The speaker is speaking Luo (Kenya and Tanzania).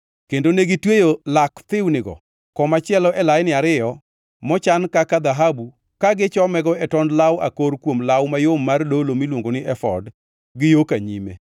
kendo negitweyo lak thiwnigo komachielo e laini ariyo mochan kaka dhahabu ka gichomego e tond law akor kuom law mayom mar dolo miluongo ni efod gi yo ka nyime.